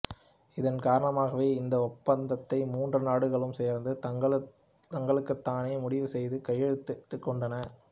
இதன் காரணமாகவே இந்த ஒப்பந்தத்தை மூன்று நாடுகளும் சேர்ந்து தங்களுக்குத்தானே முடிவு செய்து கையெழுத்திட்டுக்கொண்டன